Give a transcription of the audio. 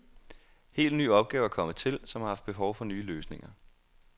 Helt nye opgaver er kommet til, som har haft behov for nye løsninger.